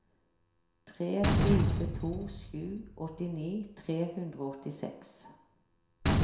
tre fire to sju åttini tre hundre og åttiseks